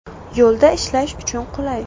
Yo‘lda ishlash uchun qulay.